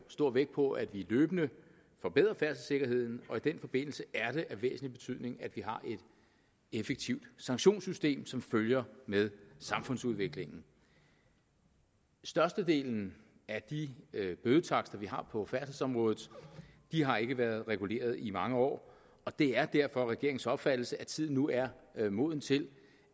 stor vægt på at vi løbende forbedrer færdselssikkerheden og i den forbindelse er det af væsentlig betydning at vi har et effektivt sanktionssystem som følger med samfundsudviklingen størstedelen af de bødetakster vi har på færdselsområdet har ikke været reguleret i mange år og det er derfor regeringens opfattelse at tiden nu er er moden til